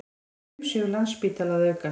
Umsvif Landspítala að aukast